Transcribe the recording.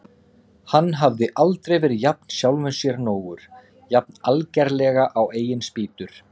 Hann hafði aldrei verið jafn sjálfum sér nógur, jafn algerlega á eigin spýtur.